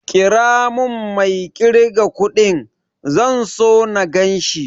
Ƙira mun mai ƙirga kudin, zan so na ganshi